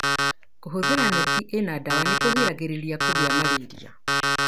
Kũhũthĩra neti ĩna ndawa nĩkũgiragirĩrĩa kũgĩa malaria.